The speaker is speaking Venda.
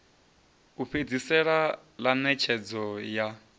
u fhedzisela ḽa ṋetshedzo ya